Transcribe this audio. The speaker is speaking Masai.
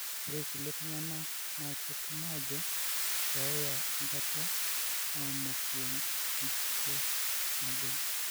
Ore kulie tunganak na ketum ajo keeya enkata aamoku enkike nagol.